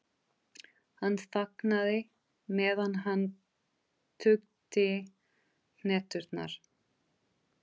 Hann þagnaði, meðan hann tuggði hneturnar.